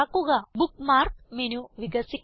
bookmark menu വികസിക്കുന്നു